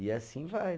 E assim vai.